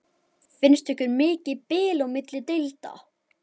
Finnst ykkur mikið bil á milli deilda?